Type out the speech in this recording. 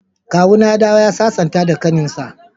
Kawuna ya dawo ya sasanta da kaninsa.